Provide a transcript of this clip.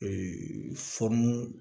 Ee fɔnɔn